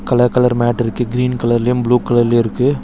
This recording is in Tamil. கலர் கலர் மேட்டிருக்கு கிரீன் கலர்லயு ப்ளூ கலர்லயு இருக்கு.